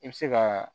I bɛ se ka